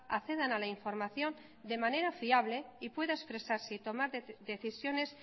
accedan a la información de manera fiable y pueda expresarse y tomar decisiones